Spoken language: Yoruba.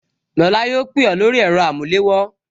Lola yóò pè ó lórí ẹ̀rọ amulewo